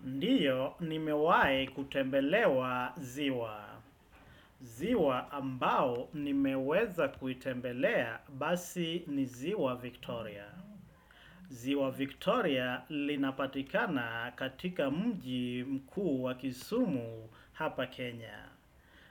Ndio ni mewahi kutembelewa ziwa. Ziwa ambao ni meweza kuitembelea basi ni ziwa Victoria. Ziwa Victoria linapatikana katika mji mkuu wa kisumu hapa Kenya.